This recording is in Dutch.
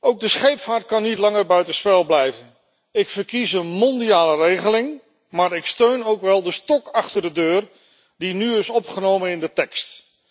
Ook de scheepvaart kan niet langer buiten spel blijven. Ik verkies een mondiale regeling maar ik steun ook wel de stok achter de deur die nu is opgenomen in de tekst.